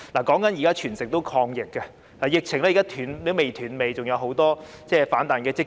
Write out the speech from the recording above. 現時全城均在抗疫，疫情仍未"斷尾"，還有很多反彈的跡象。